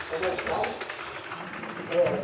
Só voltava. Ãh.